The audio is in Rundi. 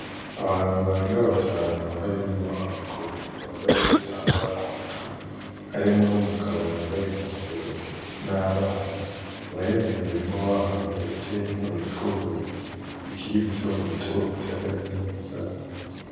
Abantu barenga batanu harimwo abagore bambaye udutambara ku mutwe, harimwo n'umugabo yambaye inkofero, n'abana bari mu murima wabo uteyemwo ibigori bikiri bitobito bitarera neza.